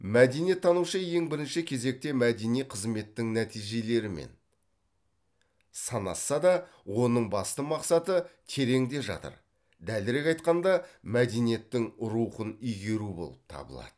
мәдениеттанушы ең бірінші кезекте мәдени қызметтің нәтижелерімен санасса да оның басты мақсаты тереңде жатыр дәлірек айтқанда мәдениеттің рухын игеру болып табылады